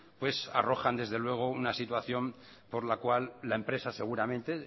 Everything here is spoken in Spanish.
pues arrojan desde luego una situación por la cual la empresa seguramente